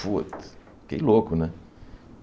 Putz fiquei louco, né?